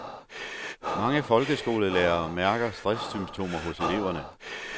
Mange folkeskolelærere mærker stresssymptomer hos elever.